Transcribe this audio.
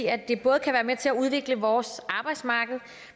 at det både kan være med til at udvikle vores arbejdsmarked